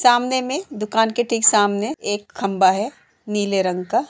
सामने मे दुकान के ठीक सामने एक खम्बा है नीले रंग का।